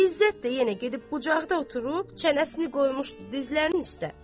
İzzət də yenə gedib bucaqda oturub, çənəsini qoymuşdu dizlərinin üstə.